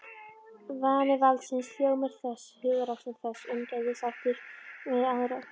Vani valdsins, hljómur þess, hugarástand þess, umgengnishættir þess við aðra.